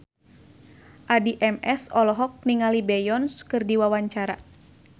Addie MS olohok ningali Beyonce keur diwawancara